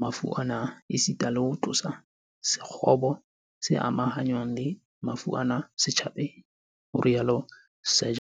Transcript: mafu ana, esita le ho tlosa sekgobo se amahanngwang le mafu ana setjhabeng", ho rialo Seegers